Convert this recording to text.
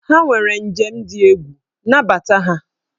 Ha nwere njem dị egwu, nabata ha!